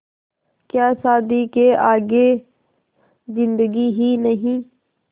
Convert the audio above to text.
क्या शादी के आगे ज़िन्दगी ही नहीं